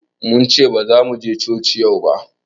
Mun ce bazamu je coci yau ba